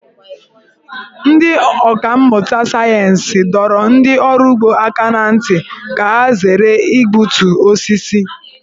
Ndị ọkà mmụta sayensị dọrọ ndị ọrụ ugbo aka ná ntị ka ha zere igbutu osisi.